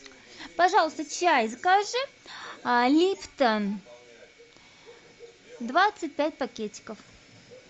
пожалуйста чай закажи липтон двадцать пять пакетиков